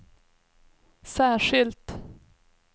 särskilt